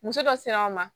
Muso dɔ sera o ma